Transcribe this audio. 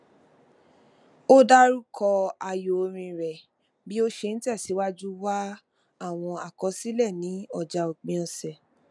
ó dárúkọ ààyò orin rẹ bí ó ṣe n tẹsìwájú wá àwọn àkọsílẹ ní ọjà òpin ọsẹ